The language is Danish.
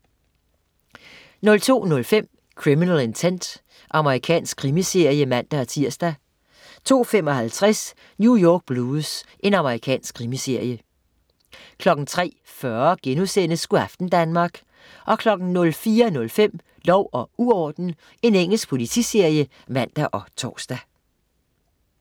02.05 Criminal Intent. Amerikansk krimiserie (man-tirs) 02.55 New York Blues. Amerikansk krimiserie 03.40 Go' aften Danmark* 04.05 Lov og uorden. Engelsk politiserie (man og tors)